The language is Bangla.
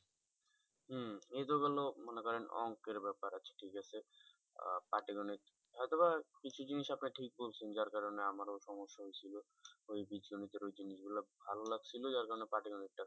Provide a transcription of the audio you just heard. হম এতো গেলো মনে করেন অঙ্কের ব্যাপার আছে ঠিক আছে আহ পাটিগণিত, হয়তো বা কিছু জিনিস আপনি ঠিক বলছেন যার কারণে আমারও সমস্যা হয়েছিল ওই বীজগণিতের ওই জিনিস গুলো ভালো লাগছিলো যার কারণে পাটিগণিতটা